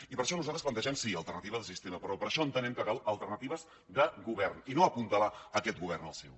i per això nosaltres plantegem sí alternatives al sistema però per això entenem que calen alternatives de govern i no apuntalar aquest govern el seu